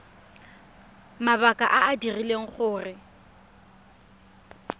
mabaka a a dirileng gore